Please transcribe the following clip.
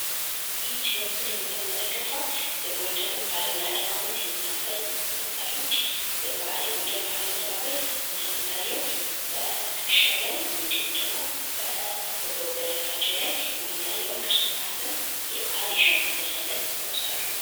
ይህች በምስሉ የምትመለከቷት የጎንደር ባህላዊ አለባበስ የምታሳይ ወጣት ነች። የጎንደር ባህላዊ አለባበስ እንደሚታየው በትክሻው ላይ እንዲሁም ደግሞ በወገቡ በደረታቸው ላይ የሚታየውን ቅርፅ የያዘ የባህል የሸማ ልብስ አይነት ይለብሳሉ ማለት ነው።